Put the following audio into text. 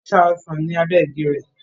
wọ́n sa ọsàn ní abẹ́ igi rẹ̀